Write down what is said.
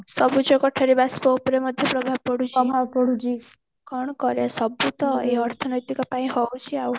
ସବୁଜ କୋଠରି ବାସ ଉପରେ ମଧ୍ୟ ପ୍ରଭାବ ପଡୁଛି କଣ କରିବା ସବୁ ତ ଏଇ ଅର୍ଥନୈତିକ ପାଇଁ ହଉଛି ଆଉ